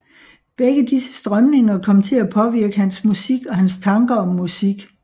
Begge disse strømninger kom til at påvirke hans musik og hans tanker om musik